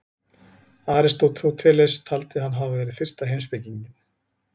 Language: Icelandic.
Aristóteles taldi hann hafa verið fyrsta heimspekinginn.